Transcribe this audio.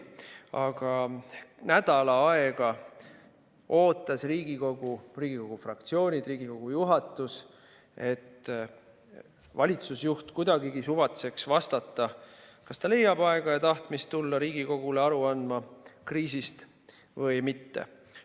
Aga nädal aega ootas Riigikogu, ootasid Riigikogu fraktsioonid, Riigikogu juhatus, et valitsusjuht kuidagigi suvatseks vastata, kas ta leiab aega ja tahtmist tulla Riigikogule aru andma kriisist või mitte.